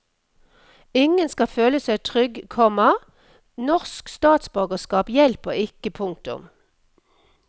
Ingen skal føle seg trygg, komma norsk statsborgerskap hjelper ikke. punktum